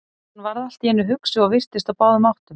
Hann varð allt í einu hugsi og virtist á báðum áttum.